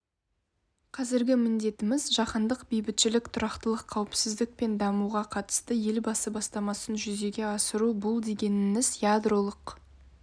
қазіргі міндетіміз жаһандық бейбітшілік тұрақтылық қауіпсіздік пен дамуға қатысты елбасы бастамасын жүзеге асыру бұл дегеніңіз ядролық